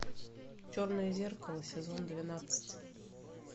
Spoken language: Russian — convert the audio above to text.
черное зеркало сезон двенадцать